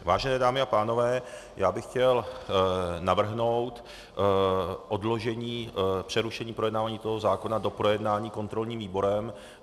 Vážené dámy a pánové, já bych chtěl navrhnout odložení přerušení projednávání toho zákona do projednání kontrolním výborem.